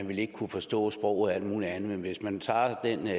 ville kunne forstå sproget og alt muligt andet men hvis man tager